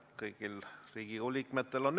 Jah, 20 000 oli keelevääratus, tegelikult on 20 miljonit.